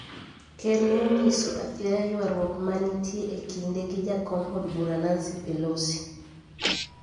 Ker ne onyiso athiaya ywaruok ma nitie e kinde gi jakom od bura Nancy Pelosi